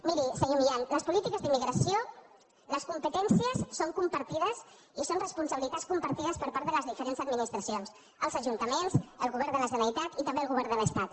miri senyor milián les polítiques d’immigració les competències són compartides i són responsabili·tats compartides per part de les diferents administra·cions els ajuntaments el govern de la generalitat i també el govern de l’estat